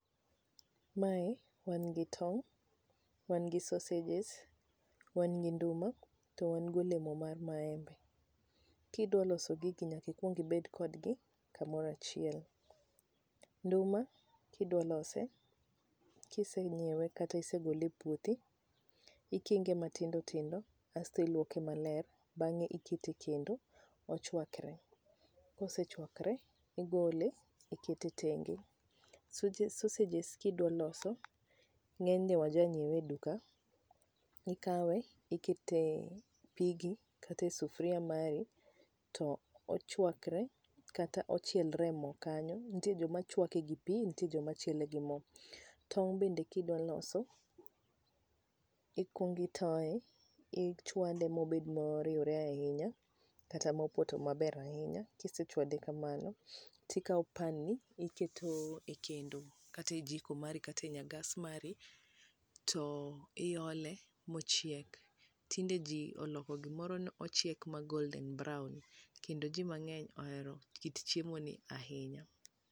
Mae wan gi tong', wan gi sausages, wan gi nduma to wan gi olemo mar maembe. Kidwa loso gig nyaka ikuong ibed kodgi kamoro achiel. Nduma kidwa lose, kisenyiewe kata isegole e puothi, ikinge matindo tindo asto iluoke maler, bang'e ikete e kendo ochwakre. Kosechwakre, igole ikete tenge. Soje sausages kidwa loso, ng'enyne waja nyiewe e duka, ikawe ikete e pigi kata ikete e sufria mari to ochwakre kata ochielre e mo kanyo, nitie joma chwake gi pi nitie joma chiele gi mo. Tong' bende ka idwa loso, ikuong itoe, ichwade mobed moriure ahinya kata mopoto maber ahinya. Kisechwade kamano, ikao pan ni iketo e kendo kata e jiko mari kata e nya gas mari, to iole mochiegi. Tinde ji oloko gimoro ni ochiek ma golden brown, kendo ji mang'eny ohero kit chiemo ni ahinya.